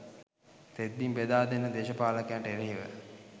තෙත්බිම් බෙදා දෙන දේශපාලකයින්ට එරෙහිව